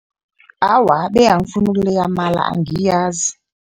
Awa, be angifuni ukuleya amala, angiyazi.